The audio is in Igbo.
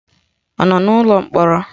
Ọ nọ n'ụlọ mkpọrọ?